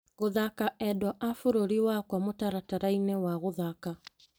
Gũthaka endwa a bũrũri wakwa mũtaratara-inĩ wa gũthaka .